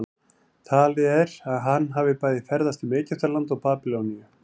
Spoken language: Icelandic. talið er að hann hafi bæði ferðast um egyptaland og babýloníu